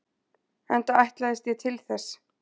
Enda ætlaðist ég til þess.